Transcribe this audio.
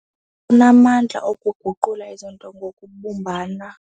Lunamandla okuguqula izinto ngokubumbana.